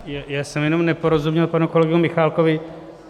Já jsem jenom neporozuměl panu kolegu Michálkovi.